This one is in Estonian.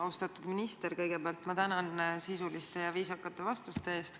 Austatud minister, kõigepealt ma tänan sisuliste ja viisakate vastuste eest!